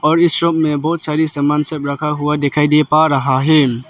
और ये सब में बहोत सारी सामान सब रखा हुआ दिखाई दे पा रहा है।